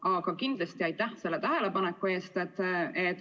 Aga kindlasti aitäh selle tähelepaneku eest!